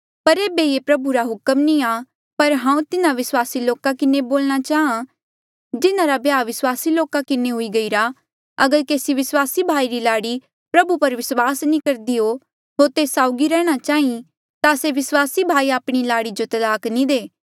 पर ऐबे ये प्रभु रा हुक्म नी आ पर हांऊँ तिन्हा विस्वासी लोका किन्हें बोलणा चाहां जिन्हारा ब्याह अविस्वासी लोका किन्हें हुई गईरा अगर केसी विस्वासी भाई री लाड़ी प्रभु पर विस्वास नी करदी हो होर तेस साउगी रैंहणां चाहीं ता से विस्वासी भाई आपणी लाड़ी जो तलाक नी दे